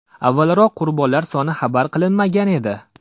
Avvalroq qurbonlar soni xabar qilinmagan edi.